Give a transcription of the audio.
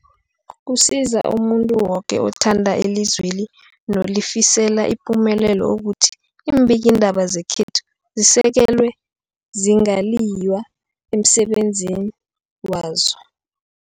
Kusiza umuntu woke othanda ilizweli nolifisela ipumelelo ukuthi iimbikiindaba zekhethu zisekelwe, zingaliywa emsebenzini wazo.